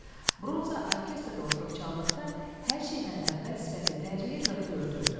Bronza orkestrdə oturub çaldıqda hər şeydən əvvəl sifəti tərləyir və pörtürdü.